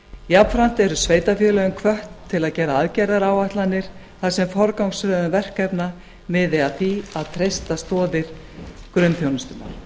jafnframt eru sveitarfélögin hvött til að gera aðgerðaáætlanir þar sem forgangsröðun verkefna miði að því að treysta stoðir grunnþjónustunnar